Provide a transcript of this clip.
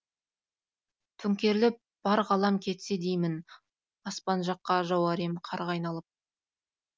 төңкеріліп бар ғалам кетсе деймін аспанжаққа жауар ем қарға айналып